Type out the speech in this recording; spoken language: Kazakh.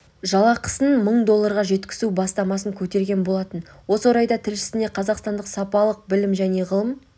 жалақысын мың долларға жеткізу бастамасын көтерген болатын осы орайда тілшісіне қазақстандық салалық білім және ғылым